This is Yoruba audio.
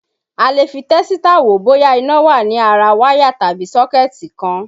A lè fi tẹ́sítà wò bóyá iná wà ní ara wáyà tàbí sọ́kẹ̀tì kan.